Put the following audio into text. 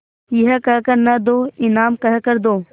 यह कह कर न दो इनाम कह कर दो